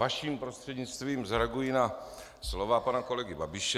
Vaším prostřednictvím zareaguji na slova pana kolegy Babiše.